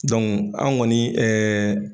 an ŋɔni